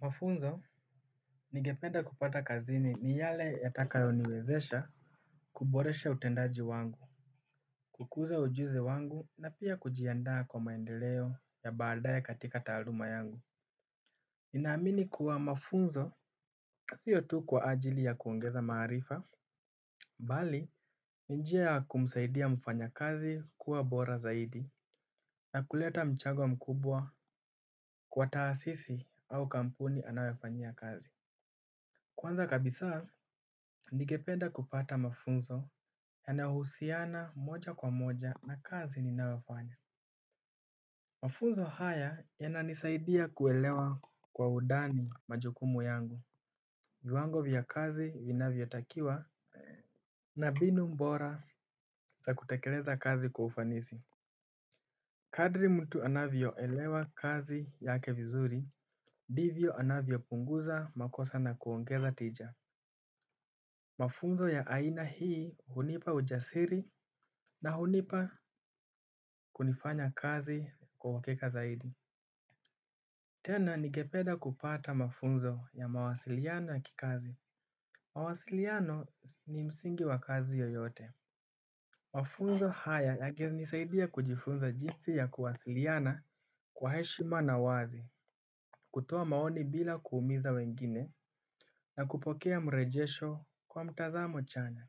Mafunzo nigependa kupata kazini ni yale yatakayoniwezesha kuboresha utendaji wangu, kukuza ujuzi wangu na pia kujiandaa kwa maendeleo ya baadae katika taaluma yangu. Ninaamini kuwa mafunzo, sio tu kwa ajili ya kuongeza maarifa, bali, ni njia kumsaidia mfanyakazi kuwa bora zaidi, na kuleta mchango mkubwa kwa taasisi au kampuni anayofanyia kazi. Kwanza kabisaa, ningepeda kupata mafunzo yanayohusiana moja kwa moja na kazi ninayofanya. Mafunzo haya yananisaidia kuelewa kwa udani majukumu yangu. Viwango vya kazi vinavyotakiwa na mbinu mbora za kutakeleza kazi kwa ufanisi. Kadri mtu anavyoelewa kazi yake vizuri, ndivyo anavyopunguza makosa na kuongeza tija. Mafunzo ya aina hii hunipa ujasiri na hunipa kufanya kazi kwa uhakika zaidi. Tena ningepeda kupata mafunzo ya mawasiliano ya kikazi. Mawasiliano ni msingi wa kazi yoyote. Mafunzo haya yangenisaidia kujifunza jinsi ya kuwasiliana kwa heshima na wazi kutoa maoni bila kuumiza wengine na kupokea mrejesho kwa mtazamo chanya.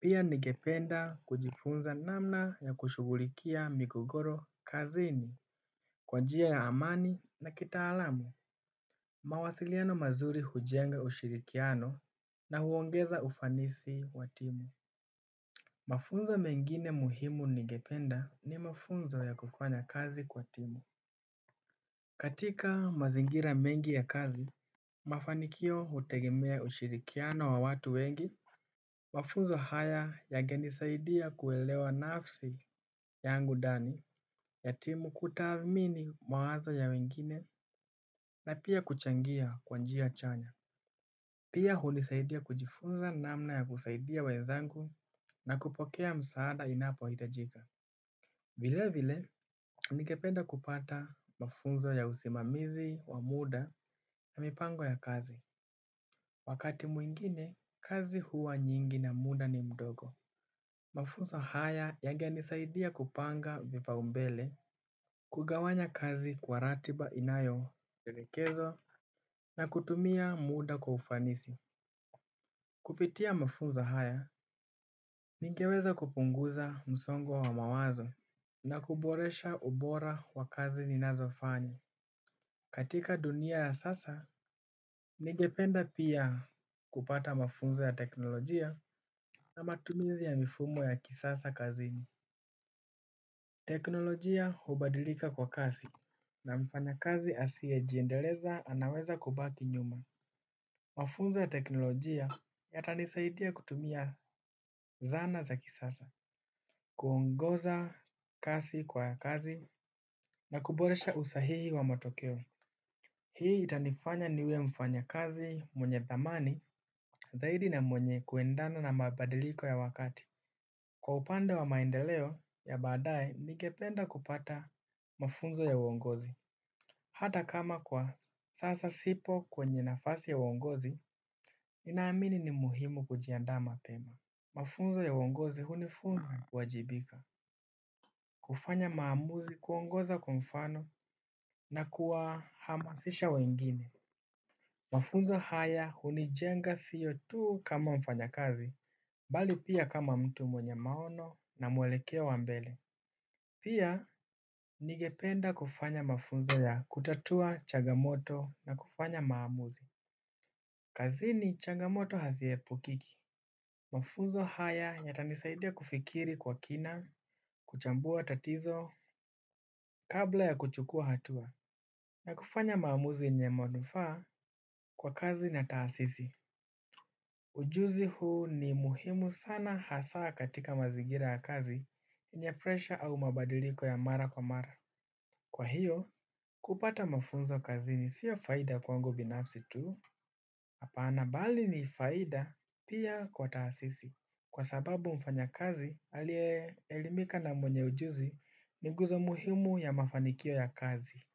Pia ningependa kujifunza namna ya kushughulikia migogoro kazini kwa njia ya amani na kitaalamu. Mawasiliano mazuri hujenga ushirikiano na huongeza ufanisi wa timu. Mafunzo mengine muhimu ningependa ni mafunzo ya kufanya kazi kwa timu. Katika mazingira mengi ya kazi, mafanikio hutegemea ushirikiano wa watu wengi. Mafunzo haya yangenisaidia kuelewa nafsi yangu ndani ya timu, kutathmini mawazo ya wengine na pia kuchangia kwa njia chanya. Pia hunisaidia kujifunza namna ya kusaidia wenzangu na kupokea msaada inapohitajika. Vile vile, ningependa kupata mafunzo ya usimamizi wa muda na mipango ya kazi. Wakati mwingine, kazi huwa nyingi na muda ni mdogo. Mafunzo haya yangenisaidia kupanga vipaumbele, kugawanya kazi kwa ratiba inayovielekezo, na kutumia muda kwa ufanisi. Kupitia mafunzo haya, ningeweza kupunguza msongo wa mawazo, na kuboresha ubora wa kazi ninazofanya. Katika dunia ya sasa, ningependa pia kupata mafunzo ya teknolojia na matumizi ya mifumo ya kisasa kazini. Teknolojia hubadilika kwa kasi na mfanyakazi asiyejiendeleza anaweza kubaki nyuma. Mafunzo ya teknolojia yatanisaidia kutumia zana za kisasa. Kuongoza kasi kwa kazi na kuboresha usahihi wa matokeo. Hii itanifanya niwe mfanyakazi mwenye dhamani zaidi na mwenye kuendana na mabadiliko ya wakati. Kwa upande wa maendeleo ya baadae ningependa kupata mafunzo ya uongozi. Hata kama kwa sasa sipo kwenye nafasi ya uongozi, ninaamini ni muhimu kujiandaa mapema. Mafunzo ya uongozi hunifunza kuwajibika. Kufanya maamuzi, kuongoza kwa mfano na kuwahamasisha wengine. Mafunzo haya hunijenga sio tu kama mfanyakazi, bali pia kama mtu mwenye maono na mwelekeo wa mbele. Pia ningependa kufanya mafunzo ya kutatua changamoto na kufanya maamuzi. Kazini, changamoto haziepukiki. Mafunzo haya yatanisaidia kufikiri kwa kina, kuchambua tatizo, kabla ya kuchukua hatua. Na kufanya maamuzi yenye manufaa kwa kazi na taasisi. Ujuzi huu ni muhimu sana hasaa katika mazingira ya kazi yenye presha au mabadiliko ya mara kwa mara. Kwa hio kupata mafunzo kazini sio faida kwangu binapsi tu, hapaana bali ni faida pia kwa taasisi. Kwa sababu mfanyakazi aliye elimika na mwenye ujuzi ni nguzo muhimu ya mafanikio ya kazi.